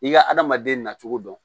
I ka adamaden na cogo dɔn